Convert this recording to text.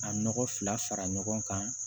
A nɔgɔ fila fara ɲɔgɔn kan